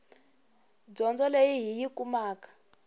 dyondzo leyi hi yi kumaka